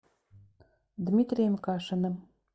дмитрием кашиным